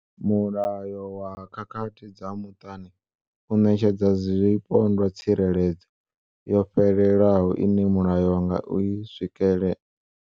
Mulayo wa khakhathi dza muṱani u ṋetshedza zwipondwa tsireledzo yo fhelelaho ine mulayo wa nga i swikela.